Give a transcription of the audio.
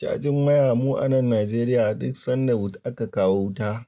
Cajin waya mu a nan Najeriya duk sanda aka kawo wuta,